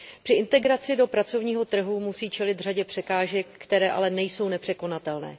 Při integraci do pracovního trhu musí čelit řadě překážek, které ale nejsou nepřekonatelné.